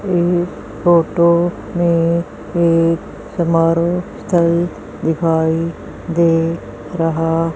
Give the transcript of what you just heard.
ये फोटो में एक समारोह स्थल दिखाई दे रहा--